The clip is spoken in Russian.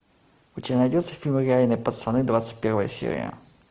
у тебя найдется фильм реальные пацаны двадцать первая серия